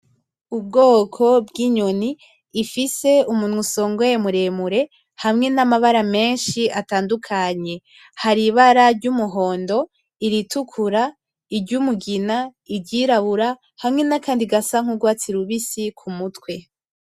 Ubwoko bw'inyoni ifise umunwa usongoye muremure hamwe n'amabara menshi atandukanye, hari ibara ry'umuhondo, iritukura, iryumugina, iryirabura hamwe nakandi gasa nk'urwatsi rubisi ku mutwe.